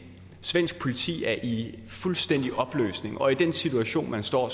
svensk politi er i fuldstændig opløsning og i den situation forstår